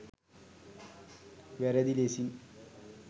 වැරදි ලෙසින්